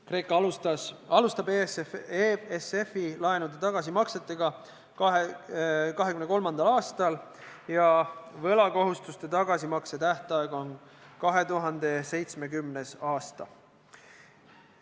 Kreeka alustab EFSF-i laenude tagasimaksetega 2023. aastal ja võlakohustuste tagasimakse tähtaeg on 2070. aasta.